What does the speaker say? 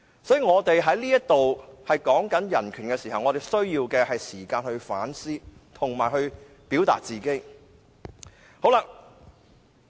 所以，我們在這裏討論人權時，需要時間去反思及表達自己的意見。